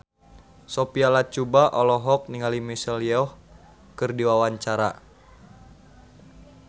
Sophia Latjuba olohok ningali Michelle Yeoh keur diwawancara